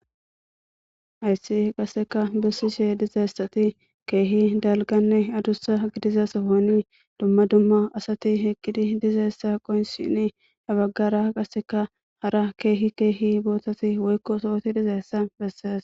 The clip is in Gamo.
Hayissi qasika besishe dizayisi kehi dalganne adusa gidiza sohon duma duma asati eqidi dizayisa qonccisishini habagara qasika kehi kehi botati woyiko sohoti dizayisa beses